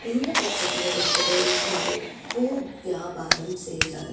இந்த பிச்சர்ல ஒருத்தரு ஒக்காந்து பூ வியாபாரம் செய்றாரு.